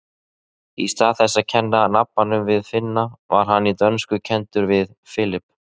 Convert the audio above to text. Í stað þess að kenna nabbann við Finna var hann í dönsku kenndur við Philip.